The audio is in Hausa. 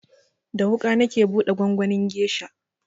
Da wuƙa nake buɗe gwangwanin gesha